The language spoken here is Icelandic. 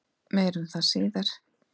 Meir um það síðar.